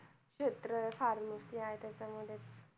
क्षेत्र आहे pharmacy आहे त्याच्यामध्ये.